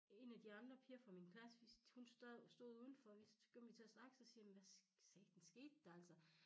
Én af de andre piger fra min klasse vi hun stod udenfor vi så kom vi til at snakke så siger jeg men hvad satan skete der altså